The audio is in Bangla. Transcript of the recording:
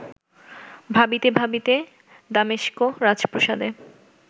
ভাবিতে ভাবিতে দামেস্ক রাজপ্রাসাদে